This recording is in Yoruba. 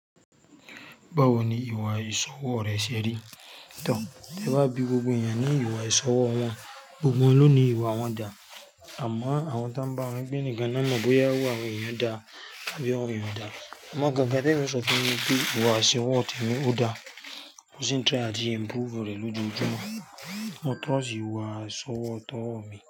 Báwo ni ìwà ìṣọwọ́ rẹ ṣe rí? T'ẹ bá bí gbogbo ènìyàn ní ìwà iṣẹ́ ọwọ wọn, gbogbo wọn ni o ní ìwà wọn dá. Àmọ́ àwọn ti won n bá wọn gbé níkan ni won mọ bóyá ìwà wọn ènìyàn dá tabí wọn dá. Àmọ́ gangan, tí èmi ò ṣọ fún yin nipe ìwà iṣẹ́ ọwọ́ tèmi ò dá, mo sì ń try lati improve rẹ̀ lójoójúmọ́. Mo trust ìwà ìṣọwọ́ tọ́ mi.